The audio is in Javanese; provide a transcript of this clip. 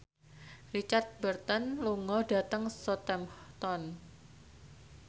Richard Burton lunga dhateng Southampton